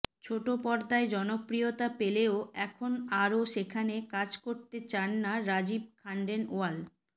ছোট পর্দায় জনপ্রিয়তা পেলেও এখন আর সেখানে কাজ করতে চান না রাজীব খান্ডেলওয়াল